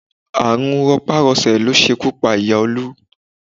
Àrùn rọpá-rọṣẹ̀ ló ṣekú pa ìyá Olú